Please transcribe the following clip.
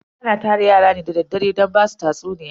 Ana tara yara ne da daddare don basu tatsuniya.